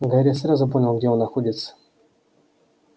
гарри сразу понял где он находится